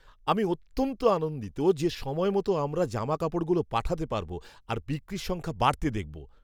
আমি অত্যন্ত আনন্দিত যে, সময় মতো আমরা জামাকাপড়গুলো পাঠাতে পারব আর বিক্রির সংখ্যা বাড়তে দেখব।